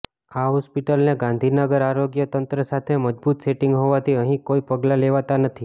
આ હોસ્પિટલને ગાંધીનગર આરોગ્ય તંત્ર સાથે મજબૂત સેટિંગ હોવાથી અહીં કોઈ પગલાં લેવાતા નથી